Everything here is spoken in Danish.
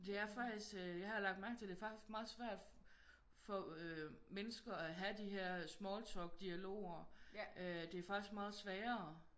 Det er faktisk øh det har jeg lagt mærke til det er faktisk meget svært for øh mennesker at have de her smalltalk dialoger